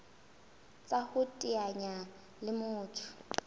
tsa ho iteanya le motho